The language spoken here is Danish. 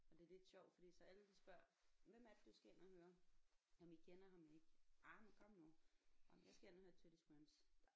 Og det er lidt sjovt fordi så alle de spørger hvem er det du skal ind og høre jamen I kender ham ikke jamen kom nu nåh men jeg skal ind og høre Teddy Swims